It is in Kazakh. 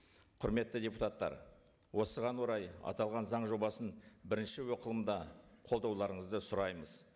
құрметті депутаттар осыған орай аталған заң жобасын бірінші оқылымда қолдауларыңызды сұраймыз